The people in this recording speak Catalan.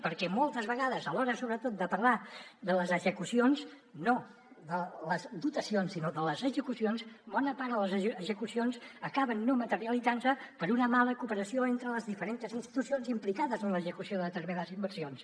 perquè moltes vegades a l’hora sobretot de parlar de les execucions no de les dotacions sinó de les execucions bona part de les execucions acaben no materialitzant se per una mala cooperació entre les diferents institucions implicades en l’execució de determinades inversions